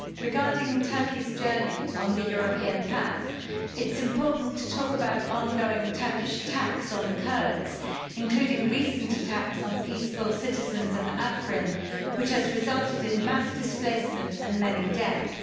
Madam President, regarding Turkey's journey on the European path, it's important to talk about ongoing Turkish attacks on the Kurds, including recent attacks on the peaceful citizens of Afrin, which have resulted in mass displacement and many deaths.